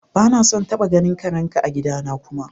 Ba na son taba ganin karen ka a'gida na kuma!